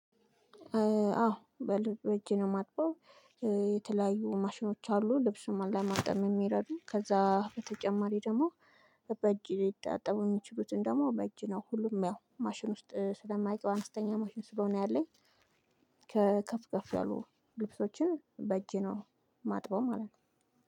አዎ! በልብ እጅ ነው የማጥበው የተለያዩ ማሽኖች አሉ። ልብሱን ለማጠብ የሚረዱ። ከዛ በተጨማሪ ደግሞ በጅ ሊታጠቡ የሚችሉትን ደግሞ በእጅ ነው። ሁሉም ያው ማሽን ውስጥ ስለማይገባ አነስተኛ ማሽን ስለሆነ ያለኝ ከፍ ከፍ ያሉ ልብሶችን በእጄ ነው የማጥበው ማለት ነው።